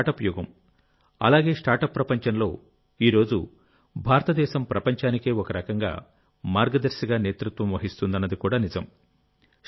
ఇది స్టార్టప్ యుగం అలాగే స్టార్ట్అప్ ప్రపంచంలోఈ రోజు భారతదేశం ప్రపంచానికే ఒకరకంగా మార్గదర్శిగా నేతృత్వం వహిస్తుందన్నది కూడా నిజం